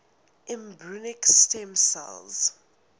embryonic stem cell